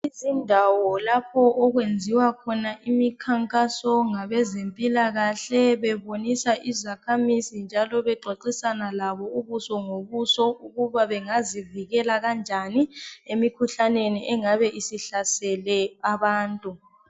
Izindawo lapho okwenziwa khona imikhankaso ngabezempilakahle bebonisa izakhamizi njalo bexoxisana labo ubuso ngobuso ukuba bengazivikela kanjani emikhuhlaneni engabe isihlasele abantu.